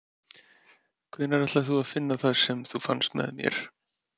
Hvenær ætlar þú að finna það sem þú fannst með mér?